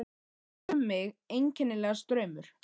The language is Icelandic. Það fer um mig einkennilegur straumur.